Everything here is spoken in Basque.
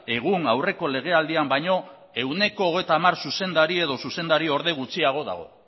egun aurreko lege aldian baino ehuneko hogeita hamar zuzendari edo zuzendari orde gutxiago dago